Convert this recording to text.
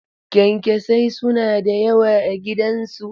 Kyankyasai suna da yawa a gidansu.